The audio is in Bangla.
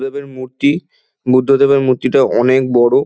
বুদ্ধদেবের মূর্তি বুদ্ধদেবের মূর্তিটা অনেক বড়।